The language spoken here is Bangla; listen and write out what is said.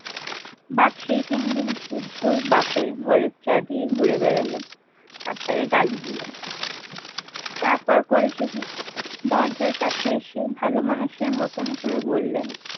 বাঘ সেই তিনদিন বুদ্ধর বাপের ঘরে চারদিকে ঘুরে বেড়ালো আর তাকে গালি দিলো তারপর করেছে কি দরজার কাছে এসে ভালো মানুষের মতন করে বললেন